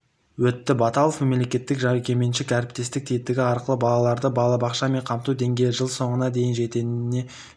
өтті баталов мемлекеттік-жекеменшік әріптестік тетігі арқылы балаларды балабақшамен қамту деңгейі жыл соңына дейін жететінін де